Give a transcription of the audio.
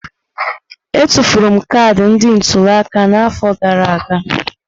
Etufuru m kaadị ndị ntuli aka n'afọ gara aga.